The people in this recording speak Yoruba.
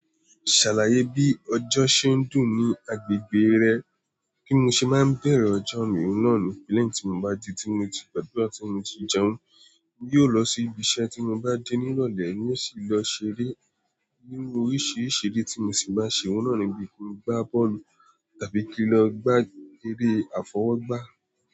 Ṣàlàyé bí ọjọ́ ṣe ń dùn ní agbègbè rẹ, kí n ṣe má bẹ̀rẹ̀ ọjọ́ mi oun náà ni pe leyin tí mo bá ji tí mo ti gbàdúrà tí mo ti jẹun, n yóò lọ sí ibi iṣẹ́ tí mo bá dé ní ìrọ̀lẹ́ ni ó sì lọ ṣeré nínú oríṣìíríṣìí eré tí mo sì bá ṣe oun náà ní bí kí n gbá bọ́ọ̀lù tàbí kí n lọ gbá eré àfọwọ́gbá.